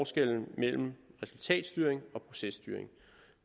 skelne mellem resultatstyring og processtyring